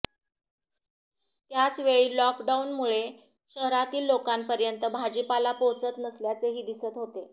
त्याचवेळी लॉकडाउनमुळे शहरातील लोकांपर्यंत भाजीपाला पोहोचत नसल्याचेही दिसत होते